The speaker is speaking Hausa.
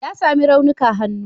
Ya sami raunuka hannu.